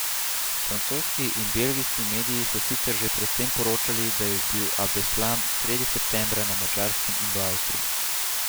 Francoski in belgijski mediji so sicer že pred tem poročali, da je bil Abdeslam sredi septembra na Madžarskem in v Avstriji.